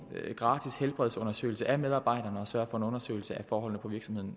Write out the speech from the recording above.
gratis helbredsundersøgelse af medarbejderne og sørge for en nærmere undersøgelse af forholdene på virksomheden